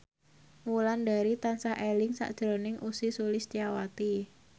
Wulandari tansah eling sakjroning Ussy Sulistyawati